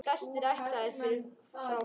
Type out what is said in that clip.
Flestir ættaðir frá honum.